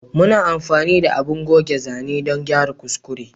Muna amfani da abun goge zane dan gyara kuskure